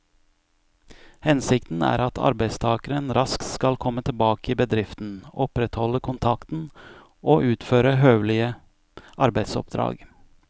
Hensikten er at arbeidstakeren raskt skal komme tilbake i bedriften, opprettholde kontakten og utføre høvelige arbeidsoppdrag.